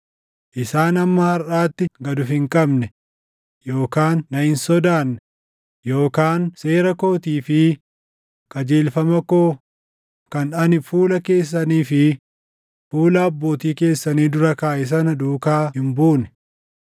Isaan hamma harʼaatti gad of hin qabne yookaan na hin sodaanne yookaan seera kootii fi qajeelfama koo kan ani fuula keessanii fi fuula abbootii keessanii dura kaaʼe sana duukaa hin buune.